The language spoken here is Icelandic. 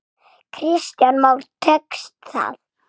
Kristján Már: Tekst það?